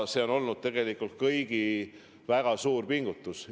See on tegelikult kõigi väga suure pingutuse tulemus.